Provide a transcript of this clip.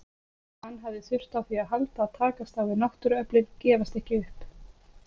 Hann hafði þurft á því að halda að takast á við náttúruöflin, gefast ekki upp.